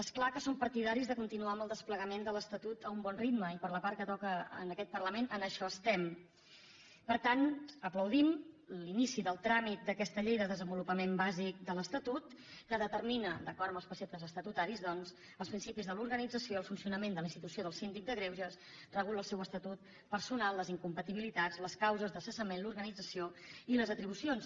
és clar que som partidaris de continuar amb el desplegament de l’estatut a un bon ritme i per la part que toca en aquest parlament en això estem per tant aplaudim l’inici del tràmit d’aquesta llei de desenvolupament bàsic de l’estatut que determina d’acord amb els preceptes estatutaris doncs els principis de l’organització el funcionament de la institució del síndic de greuges regula el seu estatut personal les incompatibilitats les causes de cessament l’organització i les atribucions